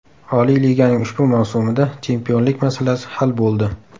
Oliy liganing ushbu mavsumida chempionlik masalasi hal bo‘ldi.